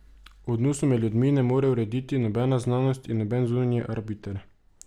Odnosov med ljudmi ne more urediti nobena znanost in noben zunanji arbiter.